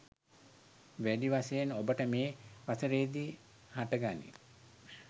වැඩි වශයෙන් ඔබට මේ වසරේදි හට ගනී.